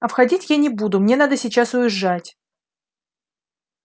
а входить я не буду мне надо сейчас уезжать